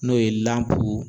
N'o ye lanpuu